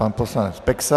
Pan poslanec Peksa.